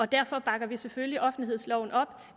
derfor bakker vi selvfølgelig offentlighedsloven op